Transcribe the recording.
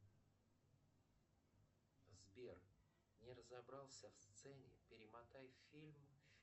сбер не разобрался в сцене перемотай фильм